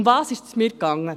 Worum ist es mir gegangen?